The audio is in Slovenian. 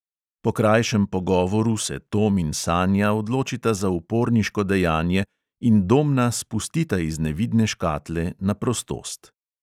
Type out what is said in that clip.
Po krajšem pogovoru se tom in sanja odločita za uporniško dejanje in domna spustita iz nevidne škatle na prostost.